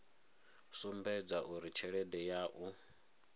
sumbedza uri tshelede ya u